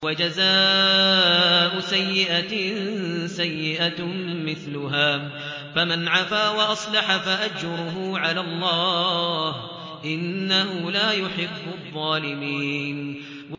وَجَزَاءُ سَيِّئَةٍ سَيِّئَةٌ مِّثْلُهَا ۖ فَمَنْ عَفَا وَأَصْلَحَ فَأَجْرُهُ عَلَى اللَّهِ ۚ إِنَّهُ لَا يُحِبُّ الظَّالِمِينَ